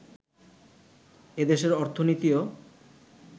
এ দেশের অর্থনীতিও